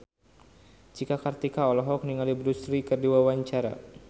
Cika Kartika olohok ningali Bruce Lee keur diwawancara